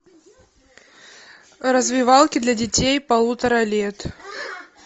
развивалки для детей полутора лет